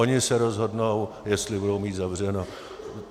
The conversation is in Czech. Oni se rozhodnou, jestli budou mít zavřeno.